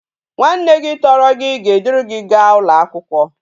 Nwa nne gi toro gi ga e duru gi ga ulo akwukwo